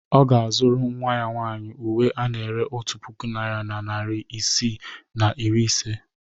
Ọ ga-azụrụ nnwa ya nwaanyị uwe ana-ere otu puku naira na narị isii na iri ise.